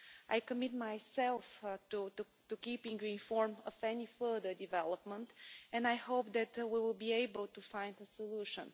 I commit myself to keeping you informed of any further developments and I hope that we will be able to find a solution.